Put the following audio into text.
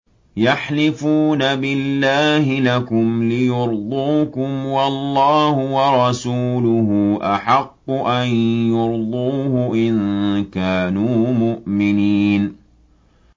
يَحْلِفُونَ بِاللَّهِ لَكُمْ لِيُرْضُوكُمْ وَاللَّهُ وَرَسُولُهُ أَحَقُّ أَن يُرْضُوهُ إِن كَانُوا مُؤْمِنِينَ